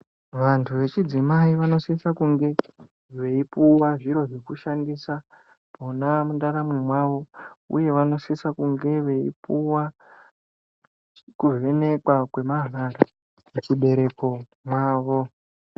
Vantu vechidzimai vanosisa kunge veipuwa zviro zvekushandisa mwona mundaramo mwavo, uye vanosisa kunge veipuwa kuvhenekwa kwemahara muchibereko mwavo.